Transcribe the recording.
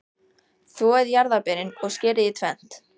Þvoið jarðarberin og skerið í tvennt.